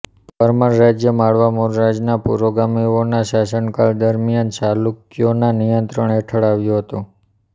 પરમાર રાજ્ય માળવા મૂળરાજના પુરોગામીઓના શાસનકાળ દરમિયાન ચાલુક્યોના નિયંત્રણ હેઠળ આવ્યું હતું